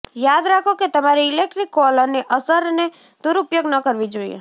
યાદ રાખો કે તમારે ઇલેક્ટ્રિક કોલરની અસરને દુરૂપયોગ ન કરવી જોઈએ